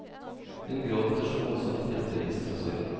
Hun gråter så voldsomt at hjertet brister av sorg.